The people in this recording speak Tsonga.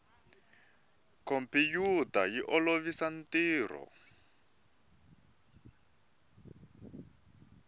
khompiyuta yi olovisa ntirho